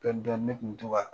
ne tun mu to ka